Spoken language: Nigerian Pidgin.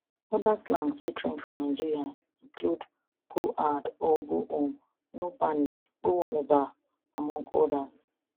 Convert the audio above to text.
oda slangs wey trend for nigeria include go hard or go home no panic go warm eba among odas